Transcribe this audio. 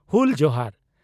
ᱦᱩᱞ ᱡᱚᱦᱟᱨ ᱾